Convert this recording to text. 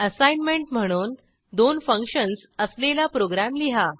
assignment म्हणून दोन functions असलेला प्रोग्रॅम लिहा